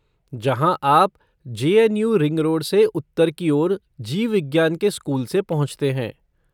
जहाँ आप J N U ring road से उत्तर की ओर जीव विज्ञान के स्कूल से पहुँचते हैं।